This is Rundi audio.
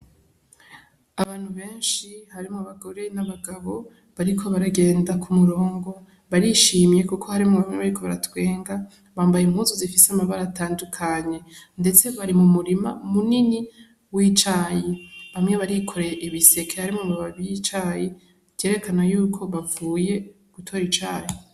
Abantu benshi harimwo abagore n'abagabo bariko baragenda ku murongo barishimye, kuko harimwo bamwe bariko baratwenga bambaye impuzu zifise amabara atandukanye, ndetse bari mu murima munini w'icayi bamwe barikoreye ibiseke harimwo amababi y'icayi vyerekana yuko bavuye gutora icayi.